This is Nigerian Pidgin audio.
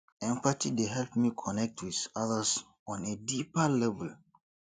empathy dey help me connect with others on a deeper level